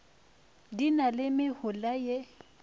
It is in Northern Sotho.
di na le mehola ye